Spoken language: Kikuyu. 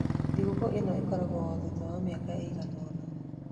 Thigũkũ ĩno ikũnguagĩrwo o thutha wa mĩaka ĩigana ũna.